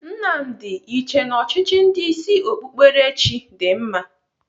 Nnamdi, ị chee na ọchịchị ndị isi okpukperechi dị mma?